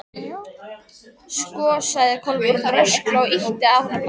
Sko sagði Kolbrún rösklega og ýtti að honum blaði.